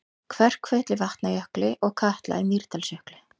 Kverkfjöll í Vatnajökli og Katla í Mýrdalsjökli.